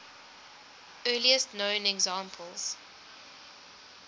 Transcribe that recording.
earliest known examples